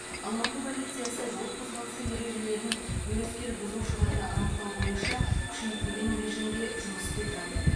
алматы полициясы жол қозғалысы ережелерін өрескел бұзушыларды анықтау бойынша күшейтілген режимде жұмыс істеп жатыр